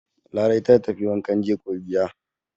Larai ta tafi wankan jego gida.